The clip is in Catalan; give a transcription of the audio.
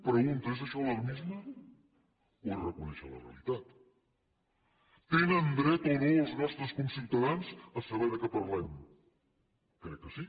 pregunta és això alarmisme o és reconèixer la realitat tenen dret o no els nostres conciutadans a saber de què parlem crec que sí